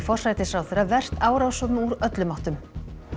forsætisráðherra verst árásum úr öllum áttum